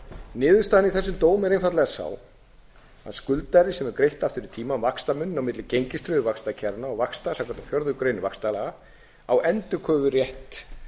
í þessum dómi er einfaldlega sú að skuldari sem hefur greitt aftur í tímann vaxtamuninn á milli gengistryggðu vaxtakjaranna og vaxta samkvæmt fjórðu grein vaxtalaga á endurkröfurétt